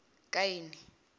kaini